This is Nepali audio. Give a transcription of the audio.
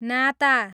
नाता